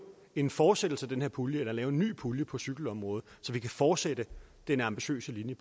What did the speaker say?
en fortsættelse af den her pulje eller at lave en ny pulje på cykelområdet så vi kan fortsætte den ambitiøse linje